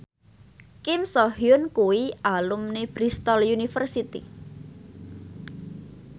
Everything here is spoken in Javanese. Kim So Hyun kuwi alumni Bristol university